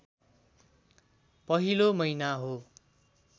पहिलो महिना हो